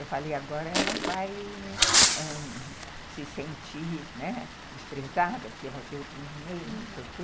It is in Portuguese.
Eu falei, agora ela vai se sentir, né, desprezada porque vai ter outro neném, não sei o quê.